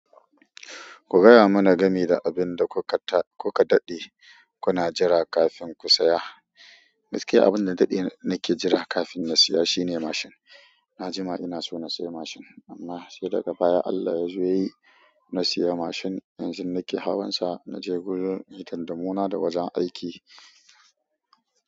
Ku gaya mana game da abin da kuka daɗe kuna jira kafin ku saya. Gaskiya abin da na daɗe nake jira kafin na siya shine mashin. Na jima ina so na siya mashin amma sai daga baya Allah ya zo ya yi na siya mashin. Yanzu nake hawan sa na gurin hidandimuna da wajen aiki.